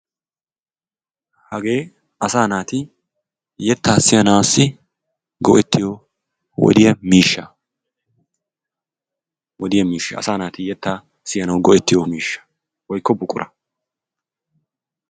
Hagee asaa naati yettaa siyanaassi go"ettiyo wodiya miishsha. Wodiya miishsha asaa naati yettaa siyanawu go"ettiyo miishsha woyikko buqura.